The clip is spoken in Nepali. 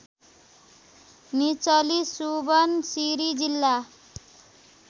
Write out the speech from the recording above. निचली सुबनसिरी जिल्ला